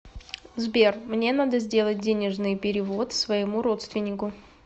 сбер мне надо сделать денежный перевод своему родственнику